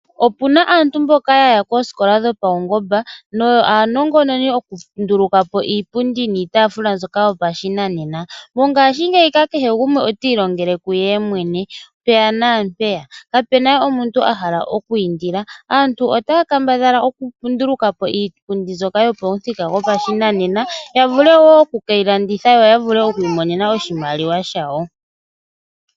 Opuna aantu mboka yaya koosikola dhopaungomba no yo aanongononi yokundula kapo iipundi niitaafula yopashinanena. Mongaashingeyi kehe gumwe otii longele kuye mwene mpeya naampeya, kapuna omuntu a hala okwiindila. Aantu otaya kambadhala oku nduluka po iipundi mbyoka yopashinanena ya vule wo okukeyi landitha yo yi imonene oshimaliwa shawo.